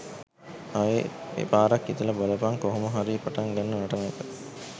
ආයේ පාරක් හිතලා බලපන් කොහොම හරි පටන් ගන්න නටන එක.